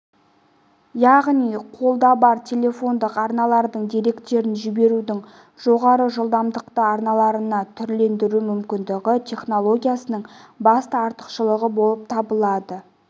яғни қолда бар телефондық арналардың деректерін жіберудің жоғары жылдамдықты арналарына түрлендіру мүмкіндігі технологиясының басты артықшылығы болып табылады